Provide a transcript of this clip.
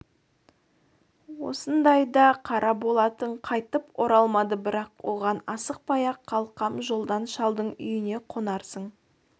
осындайда қара болатын қайтып оралмады бірақ оған асықпай-ақ қой қалқам жолдан шалдың үйіне қонарсың